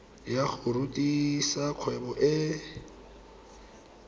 ya go rudisa kgwebo e